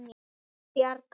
Ég bjarga mér.